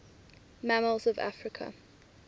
mammals of africa